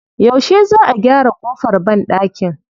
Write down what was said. Yaushe Za a gyara ƙofar banɗakin?